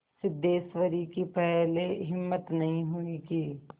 सिद्धेश्वरी की पहले हिम्मत नहीं हुई कि